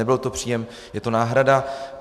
Nebyl to příjem, je to náhrada.